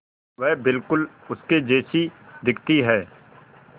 वह बिल्कुल उसके जैसी दिखती है